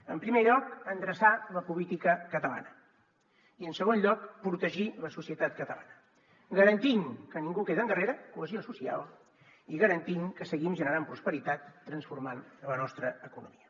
en primer lloc endreçar la política catalana i en segon lloc protegir la societat catalana garantint que ningú queda endarrere cohesió social i garantint que seguim generant prosperitat transformant la nostra economia